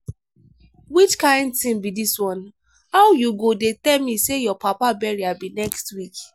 which kin thing be dis one? how you go dey tell me say your papa burial be next week.